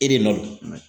E de nɔ don